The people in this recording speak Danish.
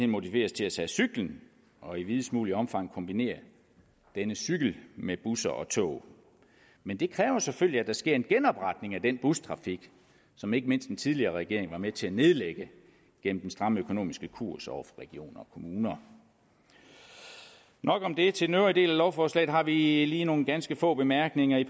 motiveres til at tage cyklen og i videst mulig omfang kombinere denne cykel med busser og tog men det kræver selvfølgelig at der sker en genopretning af den bustrafik som ikke mindst den tidligere regering var med til at nedlægge gennem den stramme økonomiske kurs over for regioner kommuner nok om det til den øvrige del af lovforslaget har vi lige nogle ganske få bemærkninger i